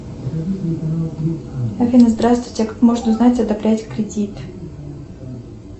афина здравствуйте как можно узнать одобрять кредит